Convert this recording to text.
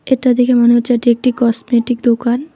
এটা দেখে মনে হচ্ছে এটা একটি কসমেটিক দোকান।